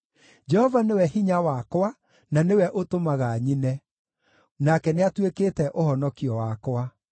Jehova nĩwe hinya wakwa na nĩwe ũtũmaga nyine; nake nĩatuĩkĩte ũhonokio wakwa.